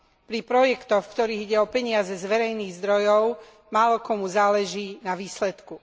Pri projektoch, v ktorých ide o peniaze z verejných zdrojov, málokomu záleží na výsledku.